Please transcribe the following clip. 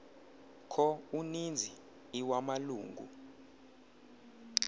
kho uninzi iwamalungu